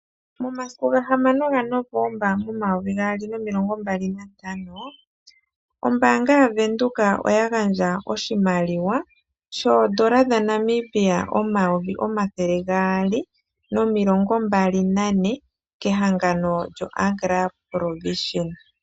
Momasiku 6 Novomba 2025, Ombaanga yaVenduka ( Bank Windhoek) oya gadja oshimaliwa sho N$224,000 kehangano lyoAgra ProVision